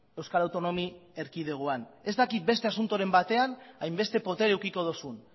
euskal autonomi erkidegoan ez dakit beste asuntoren batean hainbeste botere edukiko duzun